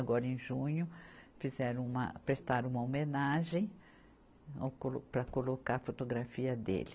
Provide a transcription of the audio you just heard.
Agora em junho fizeram uma, prestaram uma homenagem ao co, para colocar a fotografia dele.